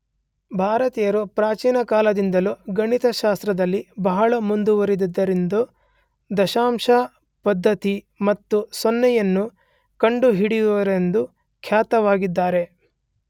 ಭಾರತೀಯರು ಪ್ರಾಚೀನ ಕಾಲದಿಂದಲೂ ಗಣಿತಶಾಸ್ತ್ರದಲ್ಲಿ ಬಹಳ ಮುಂದುವರೆದಿದ್ದರೆಂದೂ ದಶಮಾಂಶ ಪದ್ಧತಿ ಮತ್ತು ಸೊನ್ನೆಯನ್ನು ಕಂಡುಹಿಡಿದವರೆಂದೂ ಖ್ಯಾತರಾಗಿದ್ದಾರೆ.